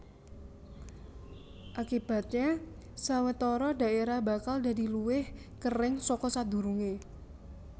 Akibatnya sawetara daerah bakal dadi luwih kering saka sadurungé